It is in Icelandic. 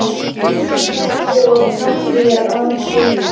Lilja þagði og hneppti að sér skyrtunni.